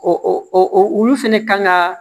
O olu fɛnɛ kan ka